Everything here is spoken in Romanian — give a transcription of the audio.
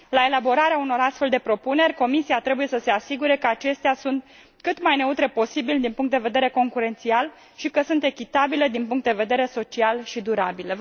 La elaborarea unor astfel de propuneri, Comisia trebuie să se asigure că acestea sunt cât mai neutre posibil din punct de vedere concurențial și că sunt echitabile din punct de vedere social și durabil.